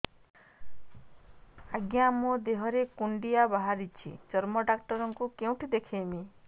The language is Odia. ଆଜ୍ଞା ମୋ ଦେହ ରେ କୁଣ୍ଡିଆ ବାହାରିଛି ଚର୍ମ ଡାକ୍ତର ଙ୍କୁ କେଉଁଠି ଦେଖେଇମି